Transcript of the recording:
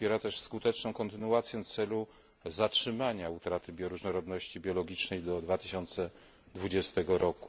Popiera też skuteczną kontynuację celu zatrzymania utraty różnorodności biologicznej do 2020 r.